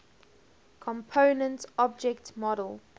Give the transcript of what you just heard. component object model